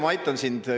Ma aitan sind.